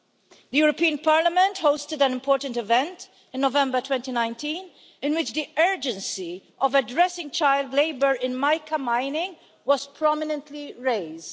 The European Parliament hosted an important event in November 2019 in which the urgency of addressing child labour in mica mining was prominently raised.